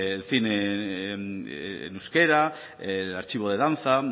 el cine en euskera el archivo de danza